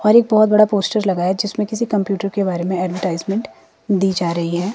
और एक बहोत बड़ा पोस्टर लगाया जिसमें किसी कंप्यूटर के बारे में एडवर्टाइजमेंट दी जा रही है।